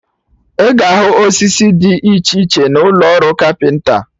Ị ga ahụ osisi Did iche iche na ụlọ ọrụ kapịnta